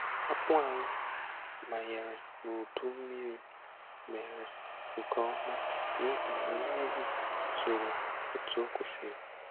Akpụ anyị manyere n'udu mmiri mere nke ọma n'ihi na mmiri zoro otu o kwesịrị